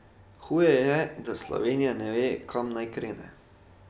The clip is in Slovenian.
Huje je, da Slovenija ne ve, kam naj krene.